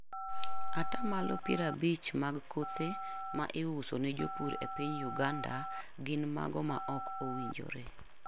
Ata malo piero abich mag kothe ma iuso ne jopur e piny Uganda gin mago ma ok owinjore.